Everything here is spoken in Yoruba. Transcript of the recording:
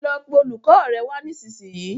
lọ pé olùkó rẹ wá nisisiyi